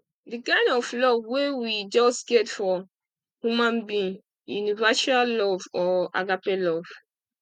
di kind of love wey we just get for human being universal love or agape love